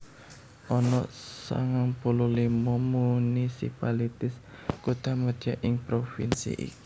Ana sangang puluh limo municipalities kuthamadya ing pravinsi iki